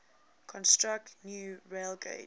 construct new railgauge